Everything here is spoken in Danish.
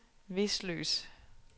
Vesløs